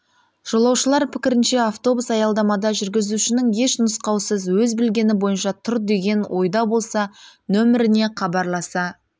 жолаушылар пікірінше автобус аялдамада жүргізушінің еш нұсқаусыз өз білгені бойынша тұр деген ойда болса нөміріне хабарласа